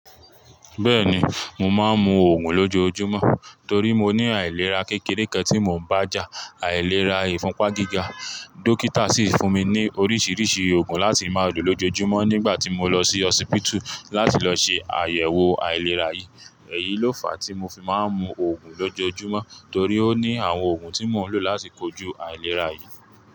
Bẹ́ẹ̀ni, mo máa ń mu oògùn lójoojúmọ́ torí mo ní àìlera kékeré kan tí mò ń bá já, àìlera ìfúnpá gíga. Dókítà sì fún mi ní oríṣiríṣi oògùn láti máa lò lójoojúmọ́ nígbà tí mo lọ sí hosipiti láti lọ ṣe àyẹ̀wò àìlera yìí. Ẹ̀yí ló fà á tí mo fi máa ń mu oògùn lójoojúmọ́ torí ó ní àwọn oògùn tí mò ń lò láti kojú àìlera yìí.